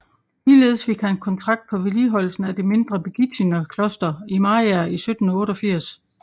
Ligeledes fik han kontrakt på vedligeholdelsen af det mindre Birgittinerkloster i Mariager 1788